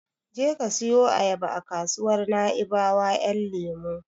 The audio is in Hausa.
Je ka siyo ayaba a kasuwar Naibawa Ƴan lemo.